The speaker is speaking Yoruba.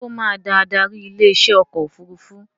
Ṣé ó máa da adarí ilé iṣẹ́ ọkọ̀ òfurufú